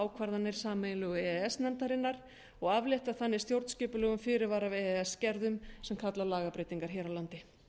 ákvarðanir sameiginlegu e e s nefndarinnar og aflétta þannig stjórnskipulegum fyrirvara af e e s gerðum sem kalla á lagabreytingar hér á landi